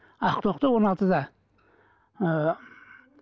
ақтоқты он алтыда ыыы